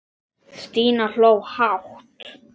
Stína hló hátt.